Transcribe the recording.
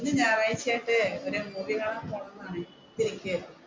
ഒരു ഞായറാഴ്ചയായിട്ട് ഒരു മൂവി കാണാൻ പോണമെന്നു ആലോചിച്ചു ഇരിക്കുകയായിരുന്നു.